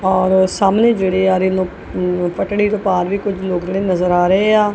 ਔਰ ਸਾਹਮਨੇ ਜੇਹੜੇ ਆ ਰਹੇ ਨੇਂ ਓਹ ਪਟੜੀ ਤੋਂ ਪਾਰ ਵੀ ਕੁਝ ਲੋਗ ਨੇ ਨਜ਼ਰ ਆ ਰਹੇਆਂ।